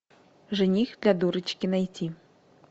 жених для дурочки найти